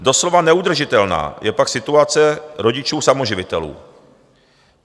Doslova neudržitelná je pak situace rodičů samoživitelů.